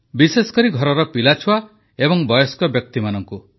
ବିଶେଷକରି ଘରର ପିଲାଛୁଆ ଏବଂ ବୟସ୍କ ବ୍ୟକ୍ତିମାନଙ୍କୁ